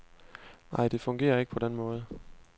Nej, det fungerer ikke på den måde.